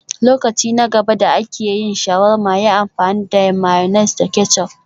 Lokaci na gaba da ake yin shawarma, yi amfani da mayonnaise da ketchup